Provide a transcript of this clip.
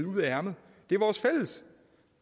ud af ærmet det er vores fælles